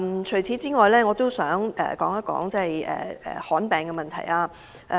除此之外，我也想談談罕見疾病的問題。